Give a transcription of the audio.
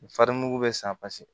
Fari mugu bɛ san paseke